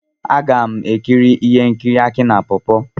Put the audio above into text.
M ga-ekiri ihe nkiri Aki na pawpaw.